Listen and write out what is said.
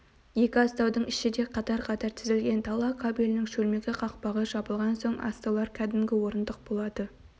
екі астаудың іші де қаз-қатар тізілген дала кабелінің шөлмегі қақпағы жабылған соң астаулар кәдімгі орындық болады